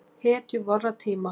Hetju vorra tíma.